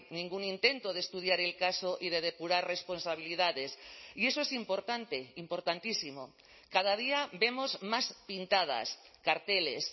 ningún intento de estudiar el caso y de depurar responsabilidades y eso es importante importantísimo cada día vemos más pintadas carteles